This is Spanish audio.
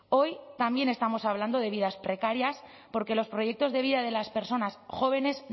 hoy también estamos hablando de vidas precarias porque los proyectos de vida de las personas jóvenes